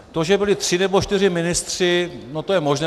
To, že byli tři nebo čtyři ministři, no to je možné.